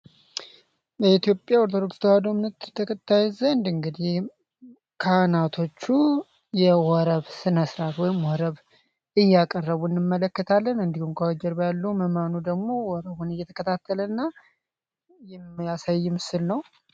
በኢትዮጵያ ወርቶዶክስ ተዋዶምንት ተከታይዘንድ እንግዲህ ካህናቶቹ የወረብ ስነስራት ወይም ወረብ እያቀረቡ እንመለከታለን እንዲሁን ከወጀር በያለው መማኑ ደግሞ ወረቡን እየተከታተለ እና የሚያሳይም ስል ነው፡፡